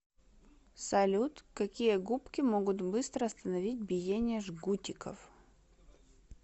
салют какие губки могут быстро остановить биение жгутиков